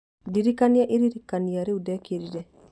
ndirikania iririkania iria ndekĩrire